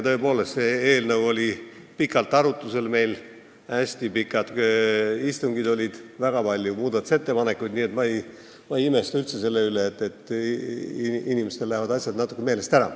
Tõepoolest, see eelnõu oli meil pikalt arutusel, hästi pikad istungid olid ja oli väga palju muudatusettepanekuid, nii et ma ei imesta üldse selle üle, kui inimesel lähevad asjad natukene meelest ära.